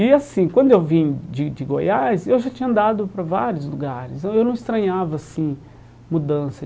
E assim, quando eu vim de de Goiás, eu já tinha andado para vários lugares, eu eu não estranhava assim mudança.